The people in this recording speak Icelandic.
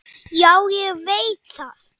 Já, ég veit það